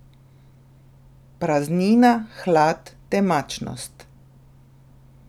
Praznina, hlad, temačnost.